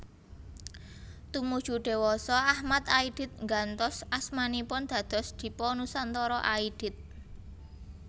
Tumuju dewasa Achmad Aidit nggantos asmanipun dados Dipa Nusantara Aidit